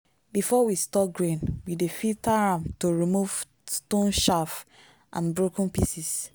before we store grain we dey filter am to remove stone chaff and broken pieces.